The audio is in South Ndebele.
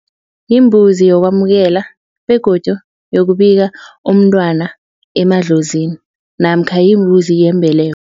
Yimbuzi yokwamukela begodu yokubika umntwana emadlozini namkha yimbuzi yembeleko.